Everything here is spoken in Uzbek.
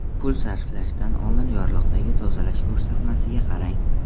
Pul sarflashdan oldin yorliqdagi tozalash ko‘rsatmasiga qarang.